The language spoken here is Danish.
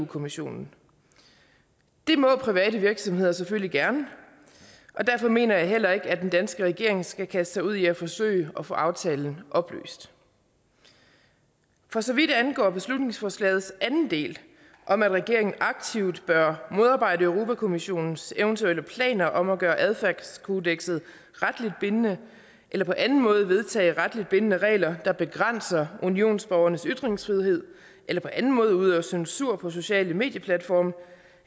kommissionen det må private virksomheder selvfølgelig gerne og derfor mener jeg heller ikke at den danske regering skal kaste sig ud i at forsøge at få aftalen opløst for så vidt angår beslutningsforslagets anden del om at regeringen aktivt bør modarbejde europa kommissionens eventuelle planer om at gøre et adfærdskodeks retligt bindende eller på anden måde vedtage retligt bindende regler der begrænser unionsborgernes ytringsfrihed eller på anden måde udøver censur på sociale medieplatforme